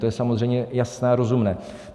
To je samozřejmě jasné a rozumné.